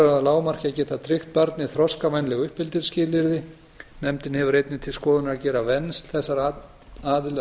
að lágmarki að geta tryggt barni þroskavænleg uppeldisskilyrði nefndin hefur einnig til skoðunar að gera vernd þessara aðila að